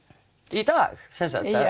í dag sem sagt